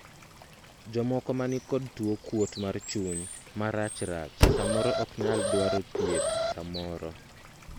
jomoko ma nikod tuo kuot mar chuny marachrach samoro ok nyal dwaro thieth samoro